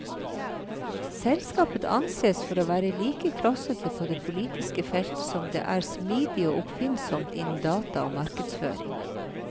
Selskapet ansees for å være like klossete på det politiske felt som det er smidig og oppfinnsomt innen data og markedsføring.